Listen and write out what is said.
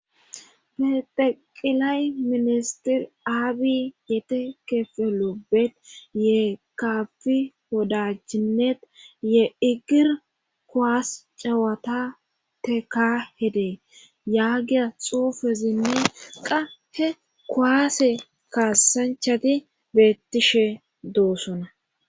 Bexeqilay ministir aabi yetekefelobet ye kafi hodachinet ye igir kuwaas cawata teka hedee yaagiya xuufezinne qahe kowaase kaassanchati bettishe doosona.